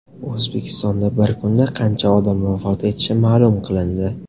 O‘zbekistonda bir kunda qancha odam vafot etishi ma’lum qilindi.